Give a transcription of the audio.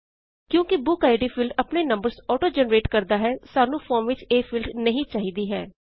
ਕਿਉਂਕੀ book ID field ਆਪਣੇ numbers auto generate ਕਰਦਾ ਹੈ ਸਾਨੂੰ ਫੋਰਮ ਵਿੱਚ ਇਹ ਫੀਲ੍ਡ ਨਹੀਂ ਚਾਹਿਦਾ ਹੈ